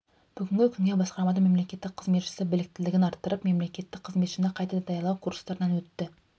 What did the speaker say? бүгінгі күнге басқармадан мемлекеттік қызметшісі біліктілігін арттырып мемлекеттік қызметші қайта даярлау курстарынан өтті